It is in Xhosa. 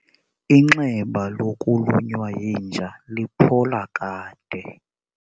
Inxeba lokulunywa yinja liphola kade.